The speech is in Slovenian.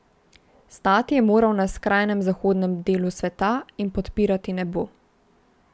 Stati je moral na skrajnem zahodnem delu sveta in podpirati nebo.